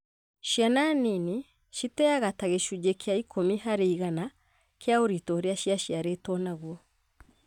Ciana nini citeaga ta gĩcunjĩ kĩa ikũmi harĩ igana kĩa ũritũ ũrĩa ciaciarĩtwo naguo